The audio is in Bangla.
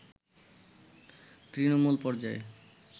তৃণমূল পর্যায়ে